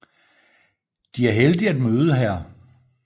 De er heldige at møde hr